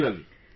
Regularly